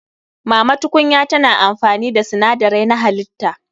Mama tukunya tana amfani da sinadarai na halitta.